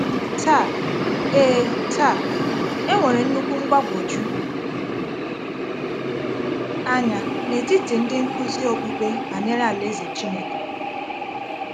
Taa, e Taa, e nwere nnukwu mgbagwoju anya n’etiti ndị nkuzi okpukpe banyere Alaeze Chineke.